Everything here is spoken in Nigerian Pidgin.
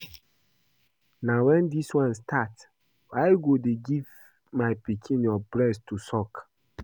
Na wen dis one start? Why you go dey give my pikin your breast to suck?